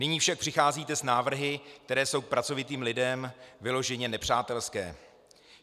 Nyní však přicházíte s návrhy, které jsou k pracovitým lidem vyloženě nepřátelské.